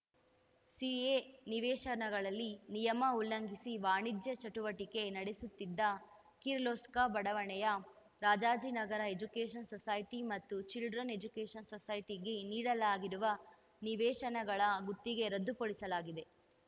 CA ನಿವೇಶನಗಳಲ್ಲಿ ನಿಯಮ ಉಲ್ಲಂಘಿಸಿ ವಾಣಿಜ್ಯ ಚಟುವಟಿಕೆ ನಡೆಸುತ್ತಿದ್ದ ಕಿರ್ಲೋಸ್ಕ ಬಡಾವಣೆಯ ರಾಜಾಜಿನಗರ ಎಜುಕೇಷನ್‌ ಸೊಸೈಟಿ ಮತ್ತು ಚಿಲ್ಡ್ರನ್‌ ಎಜುಕೇಷನ್‌ ಸೊಸೈಟಿಗೆ ನೀಡಲಾಗಿರುವ ನಿವೇಶನಗಳ ಗುತ್ತಿಗೆ ರದ್ದುಪಡಿಸಲಾಗಿದೆ